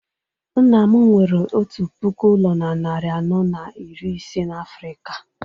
nna m nwere otu puku ụlọ na narị anọ na iri ise na Africa